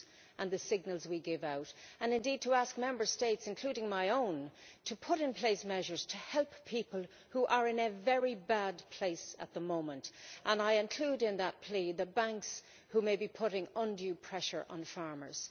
and the signals we give out, and indeed to ask Member States, including my own, to put in place measures to help people who are in a very bad place at the moment, and I include in that plea the banks who may be putting undue pressure on farmers.